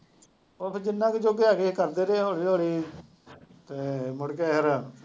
ਬਸ ਜਿੰਨੇ ਕਿ ਜੋਗੇ ਹੈਗੇ ਕਰਦੇ ਰਹੇ ਹੌਲੀ ਹੌਲੀ ਅਤੇ ਮੁੜਕੇ ਫੇਰ